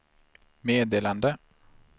meddelande